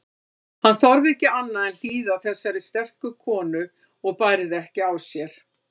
Hann þorði ekki annað en hlýða þessari sterku konu og bærði ekki á sér.